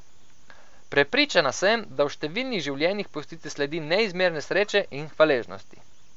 Prepričana sem, da v številnih življenjih pustite sledi neizmerne sreče in hvaležnosti.